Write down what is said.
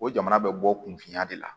O jamana bɛ bɔ kunfinya de la